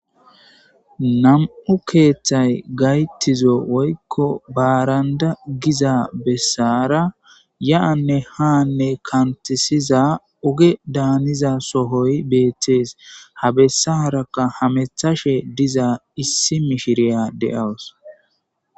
Nam7u keeththay gayttizo woykko baaranda giza bessaara ya7anne haanne kantisiza oge daaniza sohoy beettees .ha bessarakka hamethashe diza issi mishiriya de7awus.